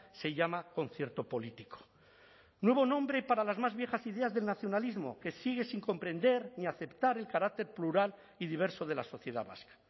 se llama concierto político nuevo nombre para las más viejas ideas del nacionalismo que sigue sin comprender ni aceptar el carácter plural y diverso de la sociedad vasca